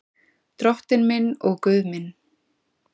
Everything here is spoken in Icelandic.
Drottinn minn og Guð minn.